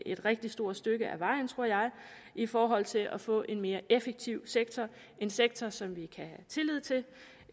et rigtig stort stykke af vejen tror jeg i forhold til at få en mere effektiv sektor en sektor som vi kan